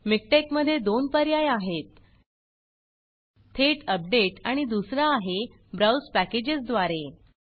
मिकटेक मध्ये दोन पर्याय आहेत थेट updateअपडेट आणि दुसरा आहे ब्राउज packagesब्राउज़ पॅकेजस द्वारे